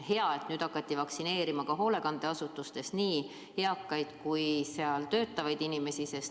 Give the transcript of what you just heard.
Hea, et nüüd hakati vaktsineerima ka hoolekandeasutustes nii eakaid kui ka seal töötavaid inimesi.